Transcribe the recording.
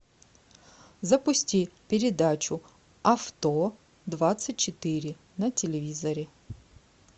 запусти передачу авто двадцать четыре на телевизоре